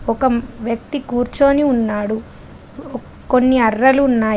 ఒక వ్యక్తి కూర్చొని ఉన్నాడు. కొన్ని అర్రలు ఉన్నాయి.